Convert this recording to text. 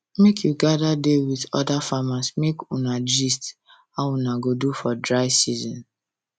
make you gather da with other farmers make una gist how una go do for dry season